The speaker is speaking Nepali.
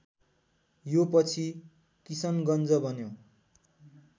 यो पछि किशनगञ्ज बन्यो